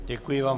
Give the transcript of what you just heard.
Děkuji vám.